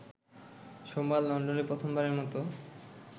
সোমবার লন্ডনে প্রথমবারের মতো